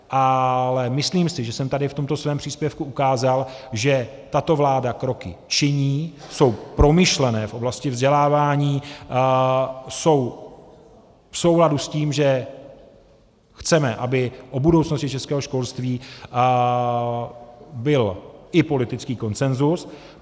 Ale myslím si, že jsem tady v tom svém příspěvku ukázal, že tato vláda kroky činí, jsou promyšlené v oblasti vzdělávání, jsou v souladu s tím, že chceme, aby o budoucnosti českého školství byl i politický konsenzus.